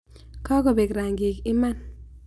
Kakobek rangik iman.